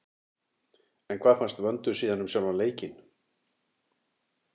En hvað fannst Vöndu síðan um sjálfan leikinn?